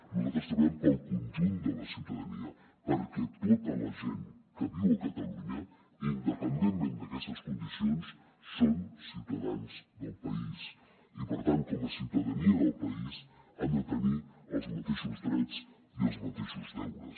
nosaltres treballem pel conjunt de la ciutadania perquè tota la gent que viu a catalunya independentment d’aquestes condicions són ciutadans del país i per tant com a ciutadania del país han de tenir els mateixos drets i els mateixos deures